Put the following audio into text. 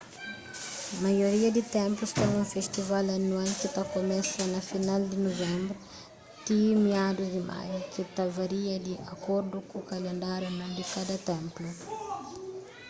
maioria di ténplus ten un festival anual ki ta kumesa na final di nuvenbru ti miadus di maiu ki ta varia di akordu ku kalendáriu anual di kada ténplu